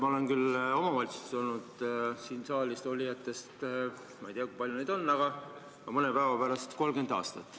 Ma olen omavalitsuse volikogus olnud – ma ei tea, kui palju siin saalis selliseid inimesi on – mõne päeva pärast 30 aastat.